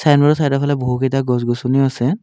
ছাইডৰ ফালে বহুকেইটা গছ-গছনি আছে।